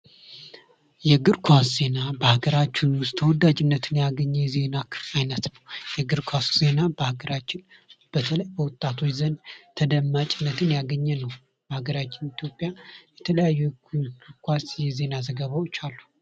የእግር ኳስ ዜና በሀገራችን ዉስጥ ተወዳጅነትን ያገኘ የዜና አይነት ነው:: የእግር ኳስ ዜና በሀገራችን በተለይ በወጣቶች ዘንድ ተደማጭነትን ያገኘ ነው:: በሀገራችን ኢትዮጵያ የተለያዩ ኳስ የዜና ዘገባዎች አሉ::